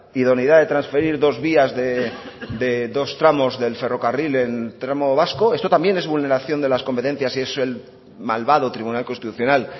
idoneidad de transferir dos vías de dos tramos del ferrocarril en tramo vasco esto también es vulneración de las competencias y es el malvado tribunal constitucional